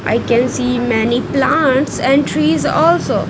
I can see many plants and trees also.